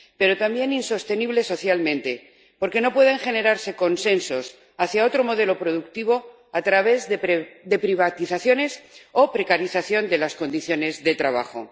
Pero también es insostenible socialmente, porque no pueden generarse consensos hacia otro modelo productivo a través de privatizaciones o de la precarización de las condiciones de trabajo.